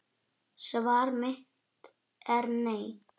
Svar mitt er nei.